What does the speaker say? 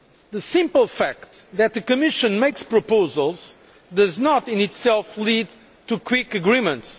The simple fact that the Commission makes proposals does not in itself lead to quick agreements.